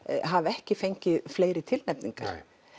hafi ekki fengið fleiri tilnefningar